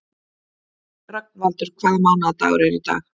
Rögnvaldur, hvaða mánaðardagur er í dag?